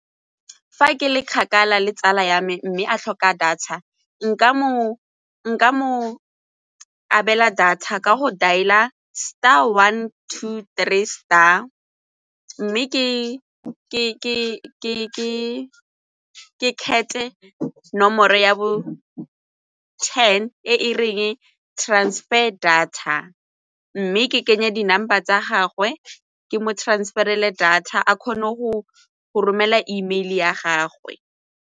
Fa ke le kgakala le tsala ya me mme a tlhoka data nka mo abela data ka go dialer star one two three star mme ke kgethe nomoro ya bo ten e reng transfer data mme ke kenye di-number tsa gagwe ke mo transfer-rele data a kgone go romela Email ya gagwe.